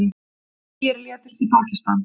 Tugir létust í Pakistan